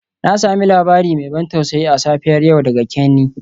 Na sami labari mai ban tausayi a safiyar yau daga Kenny.